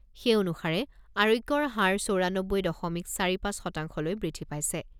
সেই অনুসাৰে আৰোগ্যৰ হাৰ চৌৰানব্বৈ দশমিক চাৰি পাঁচ শতাংশলৈ বৃদ্ধি পাইছে।